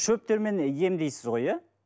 шөптермен емдейсіз ғой иә